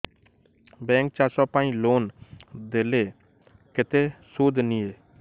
bank ଚାଷ ପାଇଁ loan ଦେଲେ କେତେ ସୁଧ ନିଏ